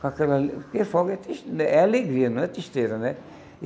Porque fogo é tris é alegria, não é tristeza, né?